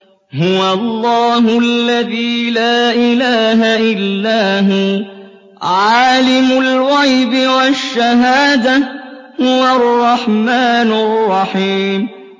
هُوَ اللَّهُ الَّذِي لَا إِلَٰهَ إِلَّا هُوَ ۖ عَالِمُ الْغَيْبِ وَالشَّهَادَةِ ۖ هُوَ الرَّحْمَٰنُ الرَّحِيمُ